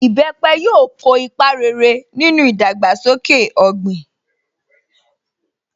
Ìbẹpẹ̀ yóò ko ipa rere nínú ìdàgbàsókè ọ̀gbìn.